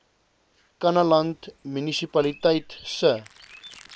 kannaland munisipaliteit se